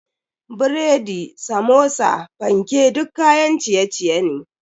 Biredi, Samosa, fanke duk kayan ciye-ciye ne.